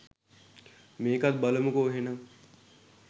මේකත් බලමුකෝ එහෙනම්.